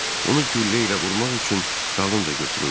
Onu güllə ilə vurmaq üçün dalınca götürüldüm.